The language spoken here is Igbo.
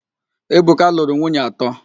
Ebuka lụrụ nwunye atọ.